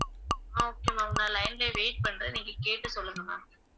ஆஹ் okay ma'am நான் line லயே wait பண்றேன் நீங்க கேட்டு சொல்லுங்க ma'am